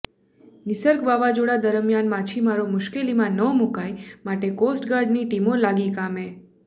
નિસર્ગ વાવાઝોડા દરમિયાન માછીમારો મુશ્કેલીમાં ન મૂકાય માટે કોસ્ટગાર્ડની ટીમો લાગી કામે